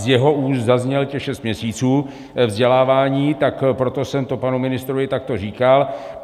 Z jeho úst zaznělo těch šest měsíců vzdělávání, tak proto jsem to panu ministrovi takto říkal.